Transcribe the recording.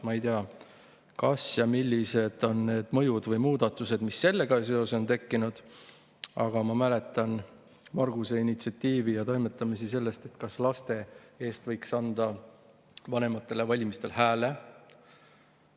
Ma ei tea, millised on olnud need mõjud või muudatused, mis sellega seoses on tekkinud, aga ma mäletan Marguse initsiatiivi ja toimetamisi selle, et laste eest võiks anda vanematele valimistel hääle.